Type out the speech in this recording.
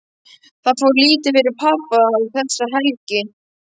Það fór lítið fyrir pabba þessa helgi.